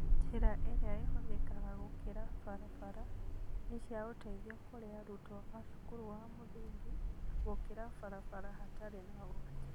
Njĩra irĩa ihũthĩkaga gũkĩra barabara nĩ cia ũteithio kwĩ arutwo a cukuru wa mũthingi gũkĩra barabara hatarĩ na ũgwati